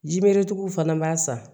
Jimeretigiw fana b'a san